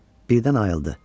Birdən ayıldı.